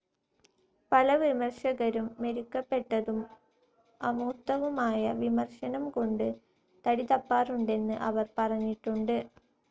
പല വിമർശകരും മെരുക്കപ്പെട്ടതും അമൂർത്തവുമായ വിമർശനം കൊണ്ട് തടിതപ്പാറുണ്ടെന്ന് അവർ പറഞ്ഞിട്ടുണ്ട്.